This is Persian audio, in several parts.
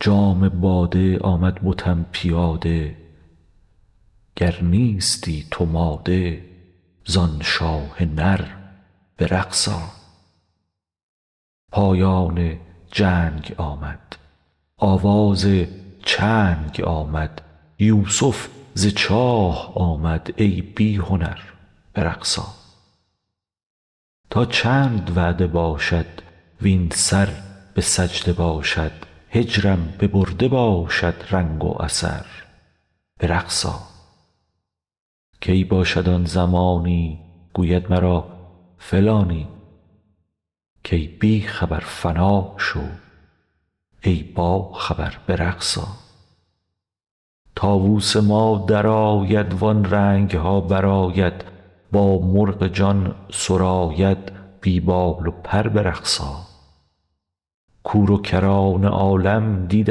جام باده آمد بتم پیاده گر نیستی تو ماده ز آن شاه نر به رقص آ پایان جنگ آمد آواز چنگ آمد یوسف ز چاه آمد ای بی هنر به رقص آ تا چند وعده باشد وین سر به سجده باشد هجرم ببرده باشد دنگ و اثر به رقص آ کی باشد آن زمانی گوید مرا فلانی کای بی خبر فنا شو ای باخبر به رقص آ طاووس ما در آید وان رنگ ها برآید با مرغ جان سراید بی بال و پر به رقص آ کور و کران عالم دید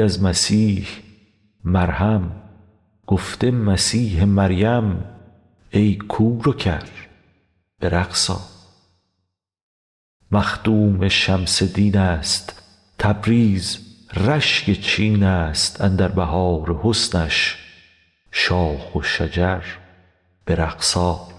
از مسیح مرهم گفته مسیح مریم کای کور و کر به رقص آ مخدوم شمس دین است تبریز رشک چین ا ست اندر بهار حسنش شاخ و شجر به رقص آ